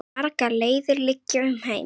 Margar leiðir liggja um heim.